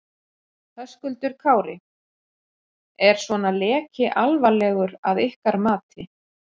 Höskuldur Kári: Er svona leki alvarlegur að ykkar mati?